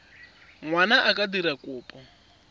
ngwana a ka dira kopo